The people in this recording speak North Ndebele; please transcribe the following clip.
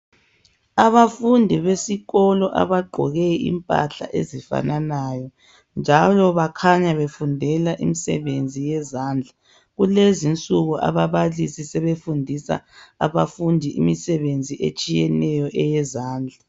Abafundi besikolo abagqoke impahla ezifananayo njalo bakhanya befundela imisebenzi yezandla kulezinsuku ababalisi sebefundisa abafundi imisebenzi etshiyeneyo eyezandla.